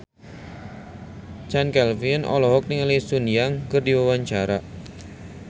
Chand Kelvin olohok ningali Sun Yang keur diwawancara